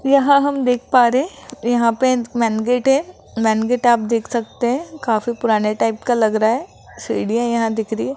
यहां हम देख पा रहे हैं यहां पे मेन गेट मेन गेट आप देख सकते हैं काफी पुराने टाइप का लग रहा है सीढ़ियां यहां दिख रही हैं।